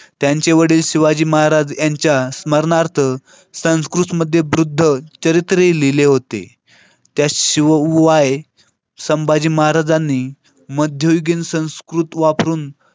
त्यांचे वडील शिवाजी महाराज यांच्या स्मरणार्थ संस्कृतमध्ये बुद्धचरित्र लिहिले होते त्याचवू आहे संभाजी महाराजांनी मध्ययुगीन संस्कृत वापरून.